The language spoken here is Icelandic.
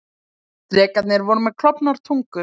Drekarnir voru með klofnar tungur.